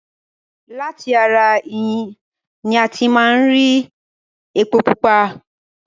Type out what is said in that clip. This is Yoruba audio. Lati ara ẹyìn ní a ti máa ń ri epo pupa.